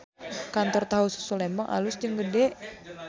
Kantor Tahu Susu Lembang alus jeung gede